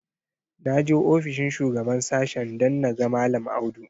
Na je ofishin shugaban sashen don na ga mallam Audu.